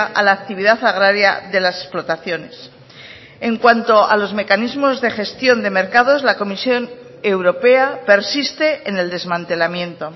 a la actividad agraria de las explotaciones en cuanto a los mecanismos de gestión de mercados la comisión europea persiste en el desmantelamiento